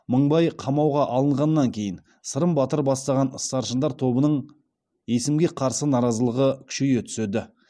мыңбай қамауға алынғаннан кейін сырым батыр бастаған старшындар тобының есімге қарсы наразылығы күшейе түседі